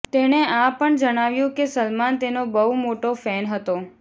તેણે આ પણ જણાવ્યું કે સલમાન તેનો બહુ મોટો ફેન હતો